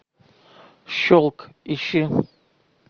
шелк ищи